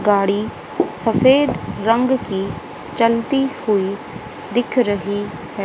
गाड़ी सफेद रंग की चलती हुई दिख रही है।